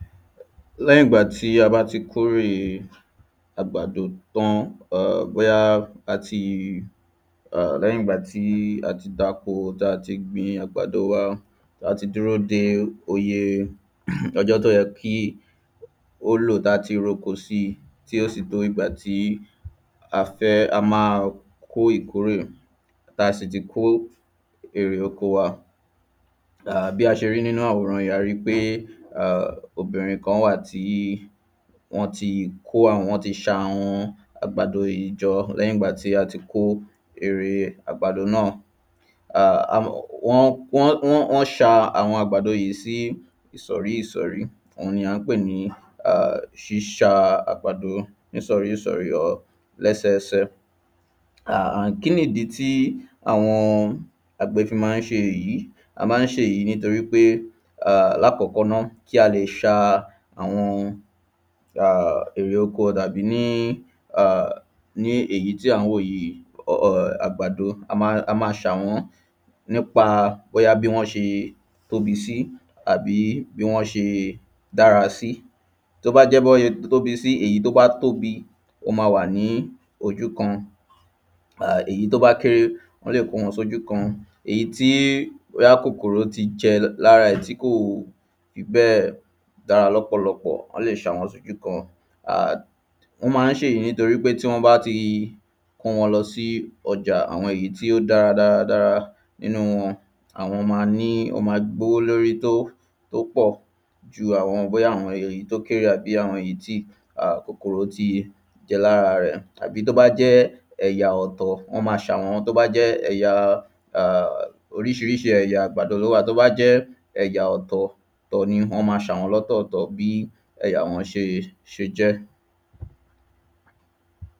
Lẹ́yìn ìgbà tí a bá ti kórè àgbàdo tán or bóyá a ti a lẹ́yìn ìgbà tí a ti dáko a ti gbin àgbàdo wa a ti dúró de iye ọjọ́ tó yẹ kí ó lò láti roko sí tí ó sì tó ìgbà tí a fẹ́ a má kó ìkórè tá sì ti kó erè oko wa. A bí a ṣe rí nínú àwòrán yìí a rí pé obìnrin kan wà tí wọ́n ti kó àwọn wọ́n ti ṣa àwọn àgàdo yìí jọ lẹ́yìn ìgbà tí a ti kó erè àgbàdo náà. A wọ́n wọ́n ṣa àwọn àgbàdo yìí sí ìsọ̀rí ìsọ̀rí on ni à ń pè ní ṣíṣa àgbàdo nísọ̀rí ìsọ̀rí or lẹ́sẹsẹ. A kínì dí tí àwọn àgbẹ̀ fí má ń ṣe èyí? A má ń ṣe èyí nítorípé a lákọ́kọ́ ná kí a lè ṣa àwọn a erè oko tàbí ní a ní èyí tí à ń wò yìí or àgbàdo a má ṣà wọ́n nípa bóyá bí wọ́n ṣe tóbi sí àbí bí wọ́n ṣe dára sí tó bá jẹ́ bọ́n ṣe tóbi sí èyí tán bá tóbi ó má wà ní ojú kan a èyí tó bá kéré wọ́n lè kó wọn sójú kan èyí tí bóyá kòkòrò ti jẹ lára ẹ̀ tí kò fi bẹ́ẹ̀ dára lọ́pọ̀lọpọ̀ wọ́n lè ṣà wọ́n síbìkan. Wọ́n má ń ṣè yìí nítorípé tí wọ́n bá ti kó wọn lọ sí ọjà àwọn èyí tí ó dára dára nínú wọn àwọn má ní wọ́n má gbówó lórí tó pọ̀ ju àwọn bóyá àwọn èyí tó kéré àbí bóyá àwọn èyí tí a kòkòrò ti jẹ lára rẹ̀ àbí tó bá jẹ́ ẹ̀jà ọ̀tọ̀ wọ́n má ṣà wọ́n àbí tó bá jẹ́ ẹ̀yà a oríṣiríṣi ẹ̀yà àgbàdo ló wà tó bá jẹ́ ẹ̀yà ọ̀tọ̀ ọ̀tọ̀ ni wọ́n má ṣà wọ́n lọ́tọ̀ ọ̀tọ̀ bí ẹ̀yà wọn ṣe jẹ́.